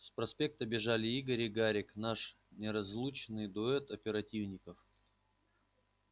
с проспекта бежали игорь и гарик наш неразлучный дуэт оперативников